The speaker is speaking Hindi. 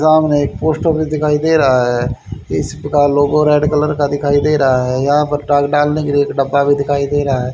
सामने एक पोस्ट ऑफिस भी दिखाई दे रहा है इसका लोगो रेड कलर का दिखाई दे रहा है यहां पे ताक डालने के लिए एक डिब्बा भी दिख रहा है।